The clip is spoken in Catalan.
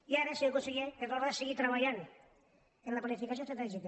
i ara senyor conseller és l’hora de seguir treballant en la planificació estratègica